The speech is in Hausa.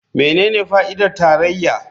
Menene fa'idar tarayya?